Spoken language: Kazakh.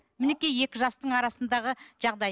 мінекей екі жастың арасындағы жағдай